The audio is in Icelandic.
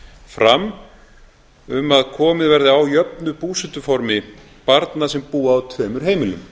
fram um að komið verði á jöfnu búsetuformi barna sem búa á tveimur heimilum